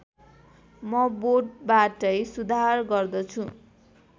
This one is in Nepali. म बोटबाटै सुधार गर्दछु